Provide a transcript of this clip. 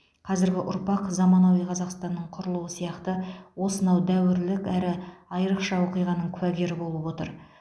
қазіргі ұрпақ заманауи қазақстанның құрылуы сияқты осынау дәуірлік әрі айырықша оқиғаның куәгері болып отыр